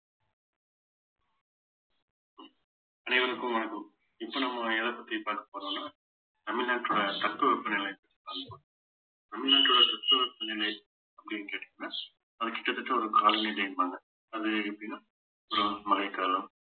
அனைவருக்கும் வணக்கம் இப்ப நம்ம எத பத்தி பாக்க போறோம்னா தமிழ்நாட்டோட தட்பவெப்பநிலைஅது பாக்க போறோம் தமிழ்நாட்டோட தட்பவெப்பநிலை அப்படின்னு கேட்டீங்கன்னா அது கிட்டத்தட்ட ஒரு காலநிலைம்பாங்க அது எப்படின்னா ஒரு மழைக்காலம்